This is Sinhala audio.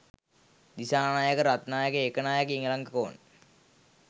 දිසානායක රත්නායක ඒකනායක ඉලංගකෝන්